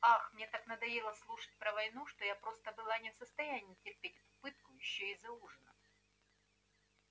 ах мне так надоело слушать про войну что я просто была не в состоянии терпеть эту пытку ещё и за ужином